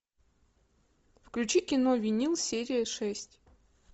включи кино винил серия шесть